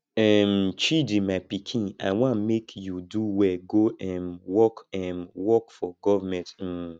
um chidi my pikin i wan make you do well go um work um work for government um